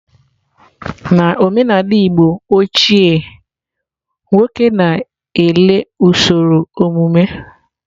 Na omenala igbo ochie nwoke na-ele usoro omumu.